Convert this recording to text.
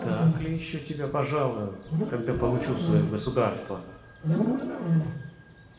так ли ещё тебя пожалую когда получу своё государство